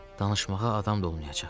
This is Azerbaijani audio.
Danışmağa adam da olmayacaq.